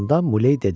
Sonda Muley dedi: